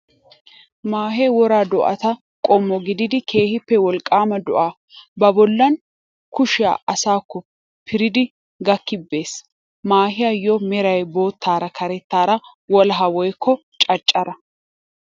Maahee woraa do'ata qommo gididi keehippe wolqqaama do'a ba bollan kushiyaa asaakko piridi gakki be'ees. Maahiyaayyo Meray boottara karettaara wolahaa woykko caccara.